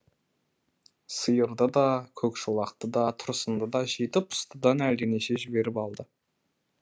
сиырды да көкшолақты да тұрсынды да жеті пұстыдан әлденеше жіберіп алды